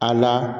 A la